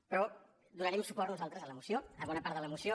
però donarem suport nosaltres a la moció a bona part de la moció